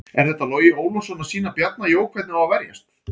Er þetta Logi Ólafsson að sýna Bjarna Jó hvernig á að verjast?